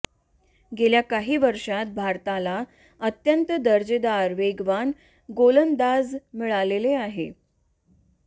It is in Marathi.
गेल्या काही वर्षांत भारताला अत्यंत दर्जेदार वेगवान गोलंदाज मिळाले आहेत